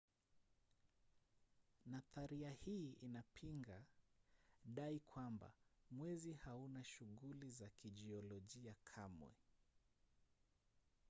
nadharia hii inapinga dai kwamba mwezi hauna shughuli za kijiolojia kamwe